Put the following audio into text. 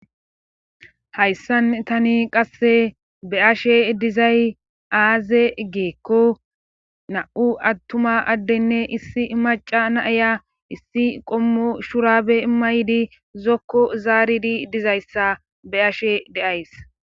Hayssan tani qasse be'ashe dizay aaze giikko nam'u attuma addenne issi maca naaya issi qommo shurabe mmaydi zokko zaaridi dizayssa be'ashe de'ays.